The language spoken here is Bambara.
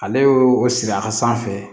Ale y'o siri a ka sanfɛ